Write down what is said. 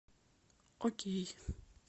окей